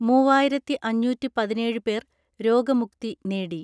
മൂവായിരത്തിഅഞ്ഞൂറ്റിപതിനേഴ് പേർ രോഗമുക്തി നേടി.